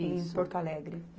Isso. Em Porto Alegre.